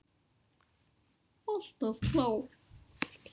Alltaf klár.